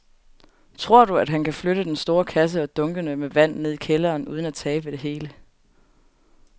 Tror du, at han kan flytte den store kasse og dunkene med vand ned i kælderen uden at tabe det hele?